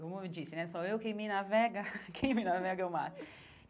Como eu disse né, sou eu quem me navega, quem me navega é o mar.